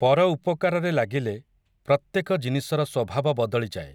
ପର ଉପକାରରେ ଲାଗିଲେ, ପ୍ରତ୍ୟେକ ଜିନିଷର ସ୍ୱଭାବ ବଦଳିଯାଏ ।